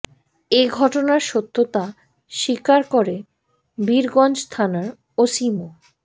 এ ঘটনার সত্যতা স্বীকার করে বীরগঞ্জ থানার ওসি মো